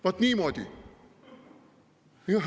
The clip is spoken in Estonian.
Vaat niimoodi!